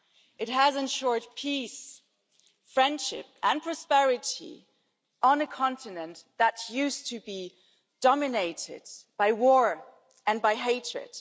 It has ensured peace, friendship and prosperity on a continent that used to be dominated by war and by hatred.